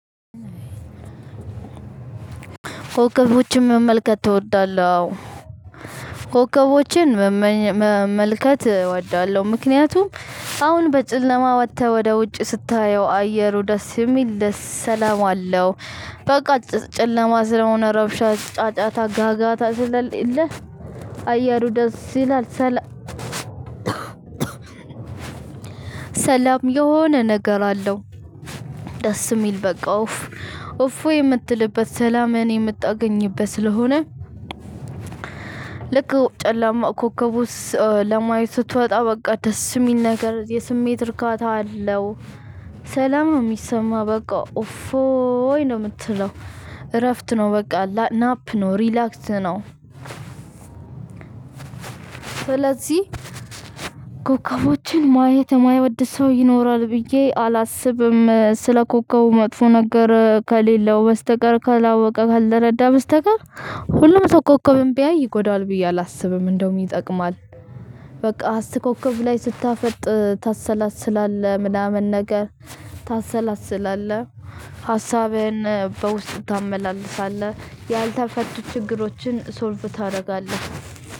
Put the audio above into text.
ኮከቦችን መመልከት ትወዳለህ? አዎ ኮከቦችን መመልከት እወዳለሁ። ምክንያቱም አሁን በጨለማ ወጥተህ ወደ ውጭ ስታየው አየሩ ደስ የሚል ደስ ሰላም አለው። በቃ ጨለማ ስለሆነ ረብሻ ጫጫታ ጋጋታ ስለሌለ አየሩ ደስ ይላል። ሰላ ሰላም የሆነ ነገር አለው። ደስ የሚል በቃው ኡፍ ኡፍይ የምትልበት ሰላምህን የምታገኝበት ስለሆነ። ልክ ጨላማ ኮከቡስ ለማየት ስትወጣ በቃ ደስ የሚል ነገር የስሜት እርካታ አለው። ሰላም ነው የሚሰማኝ በቃ ኡፍ ኦይ ነው የምትለው እረፍት ነው በቃ ናፕ ነው ሪላክስ ነው። ስለዚህ ኮከቦችን ማየት የማይወድ ሰው ይኖራል ብዬ አላስብም። ስለ ኮከቡ መጥፎ ነገር ከሌለው በስተቀር ካላወቀ ካልተረዳ በስተቀር ሁሉም ሰው ኮከብም ቢያይ ይጎዳል ብዬ አላስብም እንደውም ይጠቅማል። በቃ አስር ኮከብ ላይ ስታፈጥ ታሰላስላለህ ምናምን ነገር ታሰላስላለህ ሀሳብህን በውስጥ ታመላልሳለህ። ያልተፈቱ ችግሮችን ሶልቭ ታደርጋለህ።